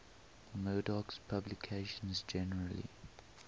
murdoch's publications generally